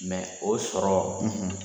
Mɛ o sɔrɔ